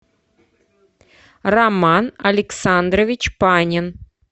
роман александрович панин